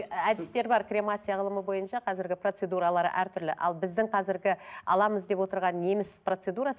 і әдістер бар кремация алымы бойынша қазіргі процедуралары әртүрлі ал біздің қазіргі аламыз деп отырған неміс процедурасы